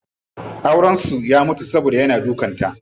Auren su ya mutu saboda yana dukan ta.